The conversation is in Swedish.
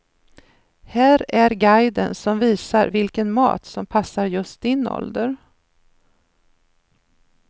Här är guiden som visar vilken mat som passar just din ålder.